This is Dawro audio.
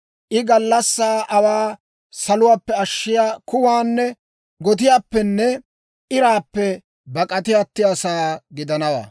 I gallassaa aawaa suuluwaappe ashshiyaa kuwaanne gotiyaappenne iraappe bak'ati attiyaasaa gidanawaa.